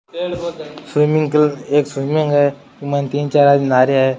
Swimming एक swimming है बि के माइन तीन चार आदमी नहा रा है।